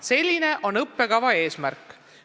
Selline on õppekava eesmärk.